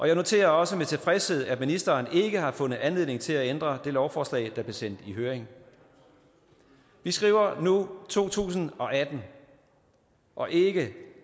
jeg noterer også med tilfredshed at ministeren ikke har fundet anledning til at ændre det lovforslag der blev sendt i høring vi skriver nu to tusind og atten og ikke